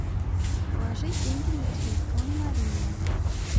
положи деньги на телефон марине